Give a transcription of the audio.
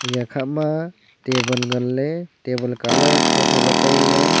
eya khama table nganley table colour thotho ley tailey.